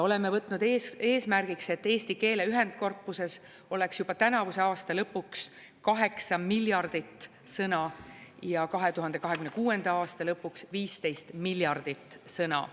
Oleme võtnud eesmärgiks, et eesti keele ühendkorpuses oleks juba tänavuse aasta lõpuks 8 miljardit sõna ja 2026. aasta lõpuks 15 miljardit sõna.